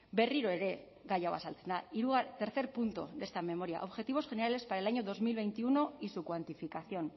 berriro ere gai hau azaltzen da tercer punto de esta memoria objetivos generales para el año dos mil veintiuno y su cuantificación